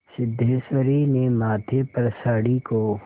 सिद्धेश्वरी ने माथे पर साड़ी को